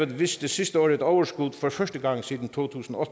viste sidste år et overskud for første gang siden to tusind og